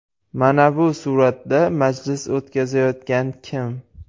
Mana bu suratda majlis o‘tkazayotgan kim?